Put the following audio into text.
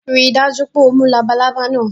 Rii daju pe o mu labalaba naa